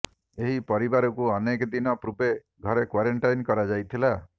ଏହି ପରିବାରକୁ ଅନେକ ଦିନ ପୂର୍ବେ ଘରେ କ୍ବାରେଣ୍ଟାଇନ୍ କରାଯାଇଥିଲା